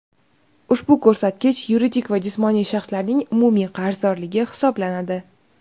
Ushbu ko‘rsatkich yuridik va jismoniy shaxslarning umumiy qarzdorligi hisoblanadi.